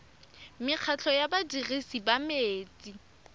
mekgatlho ya badirisi ba metsi